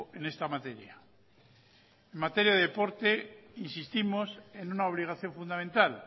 en esta materia en materia de deporte insistimos en una obligación fundamental